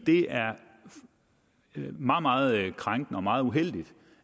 det er meget meget krænkende og meget uheldigt